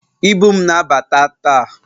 Ibu m na-abata taa